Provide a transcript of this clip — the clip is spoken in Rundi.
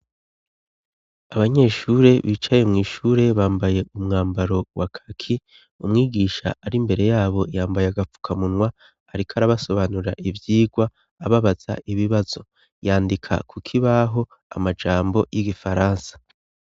abanyeshure bicaye mw'ishure bambaye umwambaro wa kaki umwigisha ari mbere yabo yambaye agapfukamunwa ariko arabasobanura ivyigwa ababaza ibibazo yandika kukibaho amajambo y'igifaransa